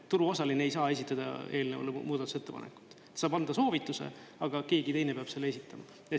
Turuosaline ei saa esitada eelnõule muudatusettepanekut, saab anda soovituse, aga keegi teine peab selle esitama.